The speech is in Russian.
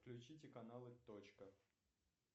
включите каналы точка